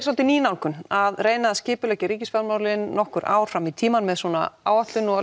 dálítið ný nálgun að reyna að skipuleggja ríkisfjármálin nokkur ár fram í tímann með svona áætlun og